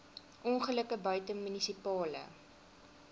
ongelukke buite munisipale